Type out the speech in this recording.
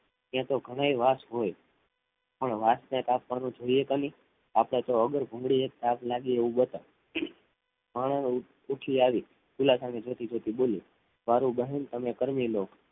ત્યાં તો ઘણાએ વાંસ હોય પણ વાંસને કાપવાનું જોઈએ ક નઈ આપણે તો વગર ભૂંગળી એ તાપ લાગે એવું બતાવો ઉઠી આવી ચૂલા સામે જોતી જોતી બોલી માર બહેન તમે કરમી લો